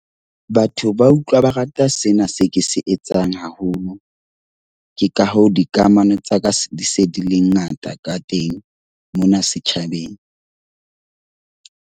Batho ba utlwa ba rata sena se ke se etsang haholo, ke ka hoo dikamano tsa ka di se di le ngata ka teng mona setjhabeng.